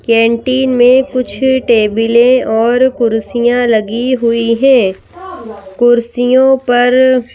canteen में कुछ टेबिले और कुर्सियां लगी हुई है कुर्सियों पर--